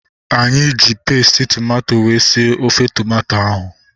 Anyị ji pesti tomato wee sie ofe tomato ahu